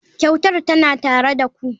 Kyautar tana tare da ku.